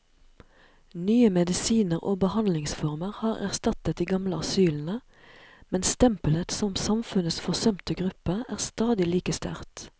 Nye medisiner og behandlingsformer har erstattet de gamle asylene, men stempelet som samfunnets forsømte gruppe er stadig like sterkt.